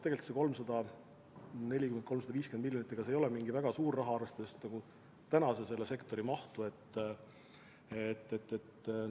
Tegelikult see 340 või 350 miljonit ei ole mingi väga suur raha, arvestades selle sektori praegust mahtu.